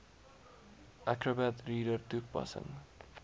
acrobat reader toepassing